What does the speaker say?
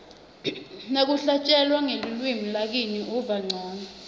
nakuhlatjelwa ngelulwimi lakini uva ncono